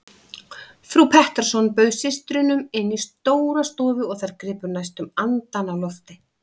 Frú Pettersson bauð systrunum inn í stóra stofu og þær gripu næstum andann á lofti.